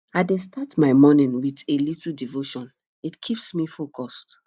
i dey start my morning with a little devotion it keeps me focused